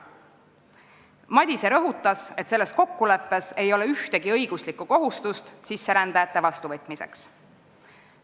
Madise rõhutas, et selles kokkuleppes ei ole ühtegi õiguslikku kohustust sisserändajate vastuvõtmiseks.